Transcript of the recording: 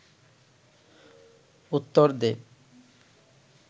উত্তর দে